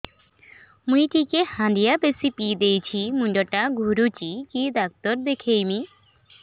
ମୁଇ ଟିକେ ହାଣ୍ଡିଆ ବେଶି ପିଇ ଦେଇଛି ମୁଣ୍ଡ ଟା ଘୁରୁଚି କି ଡାକ୍ତର ଦେଖେଇମି